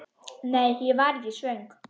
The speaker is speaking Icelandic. Nei, ég var ekki svöng.